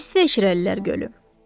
İsveçrəlilər Gölü.